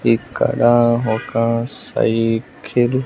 ఇక్కడ ఒక సైకిల్ .